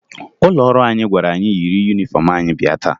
Ụlọ ọrụ anyị gwara anyị yiri yunifọmụ anyị bịa taa